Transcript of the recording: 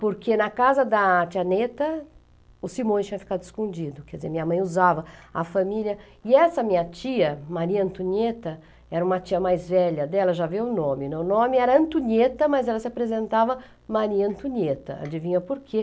porque na casa da tia Neta, o Simões tinha ficado escondido, quer dizer, minha mãe usava a família, e essa minha tia, Maria Antunieta, era uma tia mais velha dela, já vê o nome, o nome era Antunieta, mas ela se apresentava Maria Antunieta, adivinha por quê?